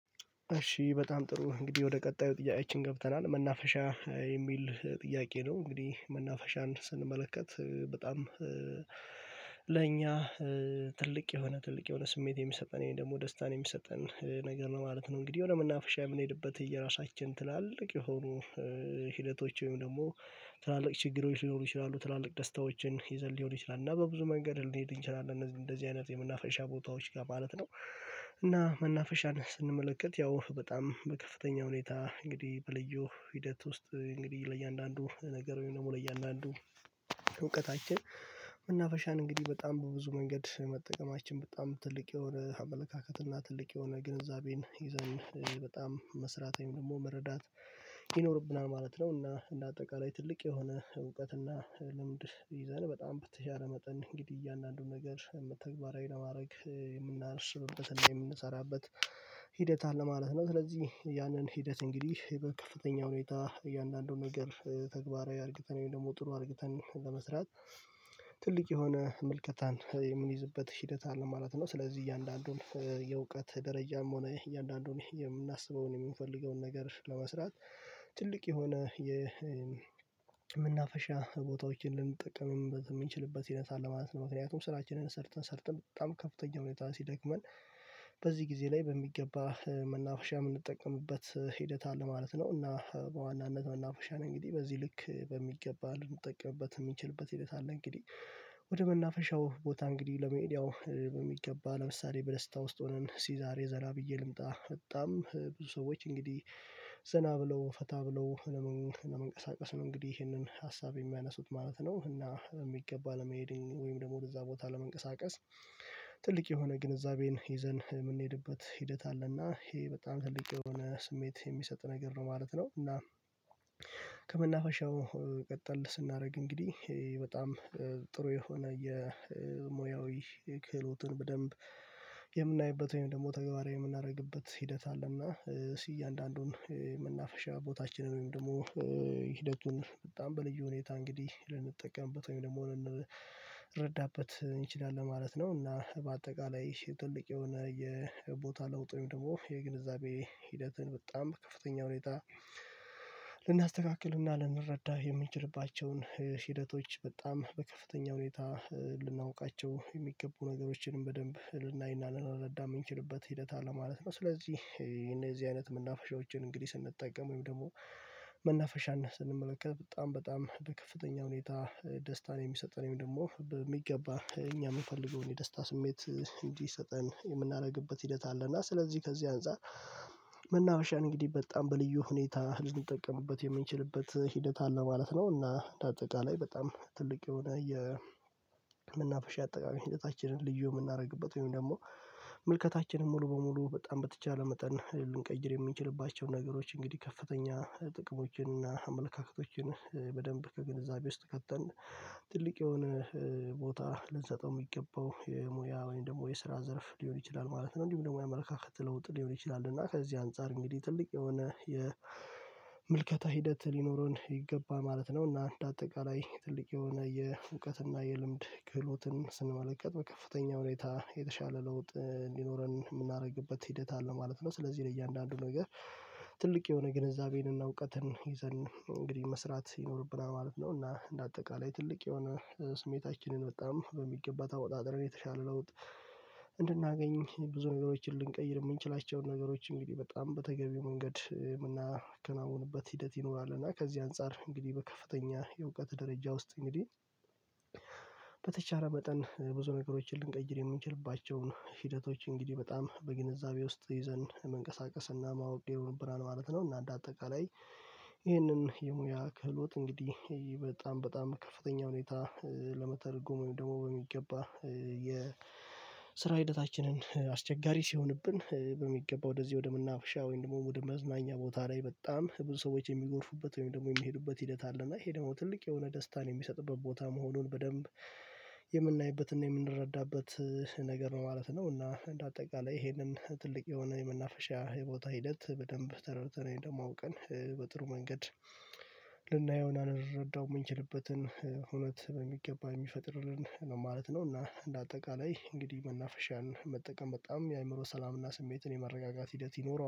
እሺ በጣም ጥሩ እንግዲህ ወደ ቀጣዩ ጥያቄችን ገብተናል መናፈሻ የሚል ጥያቄ ነው እንግዲህ መናፈሻን ስንመለከት በጣም ለኛ ትልቅ የሆነ ትልቅ የሆነ ስሜት የሚሰጠን ወይም ደግሞ ደስታን የሚሰጠን ነገር ማለት ነው። እንግዲህ ወደ መናፈሻ የምንሄድበት የራሳችን ትላልቅ የሆኑ ሂደቶች ወይም ደግሞ ትላልቅ ችግሮች ሊኖሩ ይችላሉ ትላልቅ ደስታዎችን ይዘን ሊሆን ይችላል እና በብዙ መንገድ ልንሄድ እንችላለን እንደዚህ አይነት የመናፈሻ ቦታዎች ጋር ማለት ነው። እና መናፈሻን ስንመለከት ያው በጣም በከፍተኛ ሁኔታ እንግዲህ በልዩ ሂደት ውስጥ እንግዲህ ለእያንዳንዱ ነገር ወይም ደግሞ ለእያንዳንዱ እውቀታችን መናፈሻን እንግዲህ በጣም በብዙ መንገድ መጠቀማችን በጣም ትልቅ የሆነ አመለካከት እና ትልቅ የሆነ ግንዛቤን ይዘን በጣም መስራት ወይም ደግሞ መረዳት ይኖርብናል ማለት ነው። እና እንደ አጠቃላይ ትልቅ የሆነ እውቀትና ልምድ ይዘን በጣም በተቻለ መጠን እንግዲህ እያንዳንዱን ነገር ተግባራዊ ለማድረግ የምናስብበትና የምንሰራበት ሂደት አለ ማለት ነው። ስለዚህ ያንን ሂደት እንግዲህ በከፍተኛ ሁኔታ እያንዳንዱን ነገር ተግባራዊ አድርገን ወይም ደግሞ ጥሩ አድርገን ለመስራት ትልቅ የሆነ ምልከታን የምንይዝበት ሂደት አለ ማለት ነው። ስለዚህ እያንዳንዱን የእውቀት ደረጃም ሆነ እያንዳንዱን የምናስበውን የምንፈልገውን ነገር ለመስራት ትልቅ የሆነ የመናፈሻ ቦታዎችን ልንጠቀምበት የምንችልበት ሂደት አለ ማለት ነው። ምክንያቱም ስራችንን ሰርተን ሰርተን በጣም ከፍተኛ ሁኔታ ሲደክመን በዚህ ጊዜ ላይ በሚገባ መናፍሻ የምንጠቀምበት ሂደት አለ ማለት ነው። እና በዋናነት መናፈሻ ነው እንግዲህ በዚህ ልክ በሚገባ ልንጠቀምበት የምንችልበት ሂደት አለ እንግዲህ ወደ መናፈሻው ቦታ እንግዲህ ለመሄድ በሚገባ ለምሳሌ በደስታ ውስጥ ሆነን እስኪ ዛሬ ዘና ብዬ ልምጣ በጣም ብዙ ሰዎች እንግዲህ ዘና ብለው ፈታ ብለው ለመንቀሳቀስ ነው እንግዲህ ይሄንን ሀሳብ የሚያነሱት ማለት ነው። እና በሚገባ ለመሄድ ወይም ደግሞ እዛ ቦታ ለመንቀሳቀስ ትልቅ የሆነ ግንዛቤን ይዘን የምንሄድበት ሂደት አለና ይሄ በጣም ትልቅ የሆነ ስሜት የሚሰጥ ነገር ነው ማለት ነው። እና ከመናፈሻው ቀጠል ስናደርግ እንግዲህ በጣም ጥሩ የሆነ የሙያዊ ክህሎትን በደንብ የምናይበት ወይም ደግሞ ተግባራዊ የምናደርግበት ሂደት አለና እሱ እያንዳንዱን የመናፈሻ ቦታችንን ወይም ደግሞ ሂደቱን በጣም በልዩ ሁኔታ እንግዲህ ልንጠቀምበት ወይም ደግሞ ልን እንረዳበት እንችላለን ለማለት ነው። እና በአጠቃላይ ትልቅ የሆነ የቦታ ለውጥ ወይም ደግሞ የግንዛቤ ሂደትን በጣም በፍተኛ ሁኔታ ልናስተካክልና ልንረዳው የምንችልባቸውን ሂደቶች በጣም በከፍተኛ ሁኔታ ልናውቃቸው የሚገቡ ነገሮችንም በደንብ ልናይና ልናረዳ የምንችልበት ሂደት አለ ማለት ነው። ስለዚህ እነዚህ አይነት መናፈሻዎችን እንግዲህ ስንጠቀም ወይም ደግሞ መናፈሻን ስንመለከት በጣም በጣም በከፍተኛ ሁኔታ ደስታን የሚሰጠን ወይም ደግሞ በሚገባ እኛ የምፈልገውን የደስታ ስሜት እንዲሰጠን የምናደርግበት ሂደት አለ እና ስለዚህ ከዚህ አንፃር መናፈሻን እንግዲህ በጣም በልዩ ሁኔታ ልንጠቀምበት የምንችልበት ሂደት አለ ማለት ነው። እና በአጠቃላይ በጣም ትልቅ የሆነ የመናፈሻ አጠቃላይ ሂደታችንንች ልዩ የምናደርግበት ወይም ደግሞ ምልከታችንን ሙሉ በሙሉ በጣም በተቻለ መጠን ልንቀይር የሚንችልባቸው ነገሮች እንግዲህ ከፍተኛ ጥቅሞችን እና አመለካከቶችን በደንብ በግንዛቤ ውስጥ ከተን ትልቅ የሆነ ቦታ ልንሰጠው የሚገባው የሙያ ወይም ደግሞ የስራ ዘርፍ ሊሆን ይችላል ማለት ነው። እንዲሁም ደግሞ የአመለካከት ለውጥ ሊሆን ይችላል እና ከዚህ አንፃር እንግዲህ ትልቅ የሆነ የምልከታ ሂደት ሊኖረን ይገባል ማለት ነው። እና አንደ አጠቃላይ ትልቅ የሆነ የእውቀትና የልምድ ክህሎትን ስንመለከት በከፍተኛ ሁኔታ የተሻለ ለውጥ እንዲኖረን የምናደርግበት ሂደት አለ ማለት ነው። ስለዚህ እያንዳንዱ ነገር ትልቅ የሆነ ግንዛቤንና እውቀትን ይዘን እንግዲህ መስራት ይኖርብናል ማለት ነው። እና እንደ አጠቃላይ ትልቅ የሆነ ስሜታችንን በጣም በሚገባ ተወጣጥረን የተሻለ ለውጥ እንድናገኝ ብዙ ነገሮችን ልንቀይር የምንችላቸውን ነገሮች እንግዲህ በጣም በተገቢው መንገድ የምናከናውንበት ሂደት ይኖራል። እና ከዚህ አንፃር እንግዲህ በከፍተኛ የእውቀት ደረጃ ውስጥ እንግዲህ በተቻለ መጠን ብዙ ነገሮችን ልንቀይር የምንችልባቸውን ሂደቶች እንግዲህ በጣም በግንዛቤ ውስጥ ይዘን መንቀሳቀስና ማወቅ ይሆንብናል ማለት ነው። እና እንደ አጠቃላይ ይህንን የሙያ ክህሎት እንግዲህ በጣም በጣም በከፍተኛ ሁኔታ ለመተርጎም ደግሞ በሚገባ የስራ ሂደታችንን አስቸጋሪ ሲሆንብን በሚገባ ወደዚህ ወደመናፍሻ ወይም ደግሞ ወደ መዝናኛ ቦታ ላይ በጣም ብዙ ሰዎች የሚጎርፉበት ወይም ደግሞ የሚሄዱበት ሂደት አለ እና ይሄ ደግሞ ትልቅ የሆነ ደስታን የሚሰጥበት ቦታ መሆኑን በደንብ የምናይበትና የምንረዳበት ነገር ነው ማለት ነው። እና እንደ አጠቃላይ ይሄንን ትልቅ የሆነ የመናፈሻ የቦታ ሂደት በደንብ ተረድተን ደግሞ አውቀን በጥሩ መንገድ ልንረዳው የምንችልበትን እውነት በሚገባ የሚፈጥርልን ነው ማለት ነው። እና እንደ አጠቃላይ እንግዲህ መናፈሻን መጠቀም በጣም የአእምሮ ሰላምና ስሜትን የመረጋጋት ሂደት ይኖረዋል